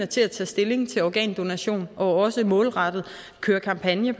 til at tage stilling til organdonation og også målrettet køre kampagner